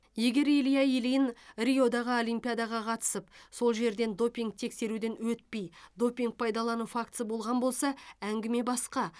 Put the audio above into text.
егер илья ильин риодағы олимпиадаға қатысып сол жерден допинг тексеруден өтпей допинг пайдалану фактісі болған болса әңгіме басқа